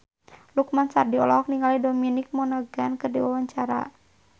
Lukman Sardi olohok ningali Dominic Monaghan keur diwawancara